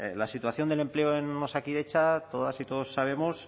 la situación del empleo en osakidetza todas y todos sabemos